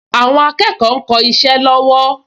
Àwọn akẹ́kọ̀ọ ń kọ isẹ́ lọ́wọ́